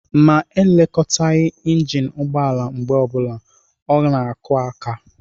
Ma e lekọtaghi injin ụgbọala mgbe ọbụla, ọ na-akụ aka.